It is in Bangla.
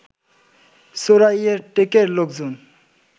চোরাইয়ার টেকের লোকজন